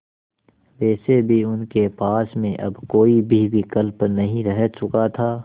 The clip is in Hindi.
वैसे भी उनके पास में अब कोई भी विकल्प नहीं रह चुका था